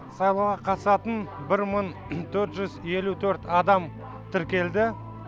сайлауға қатысатын бір мын төрт жүз елу төрт адам тіркелді